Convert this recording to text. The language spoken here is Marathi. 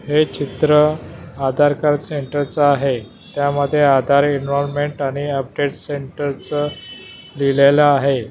हे चित्र आधार कार्ड सेंटरचा आहे त्यामध्ये आधार एनव्हायर्नमेंट आणि अपडेट सेंटरच लिहिलेलं आहे.